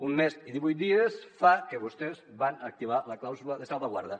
un mes i divuit dies fa que vostès van activar la clàusula de salvaguarda